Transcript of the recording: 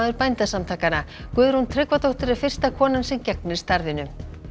Bændasamtakanna Guðrún Tryggvadóttir er fyrsta konan sem gegnir starfinu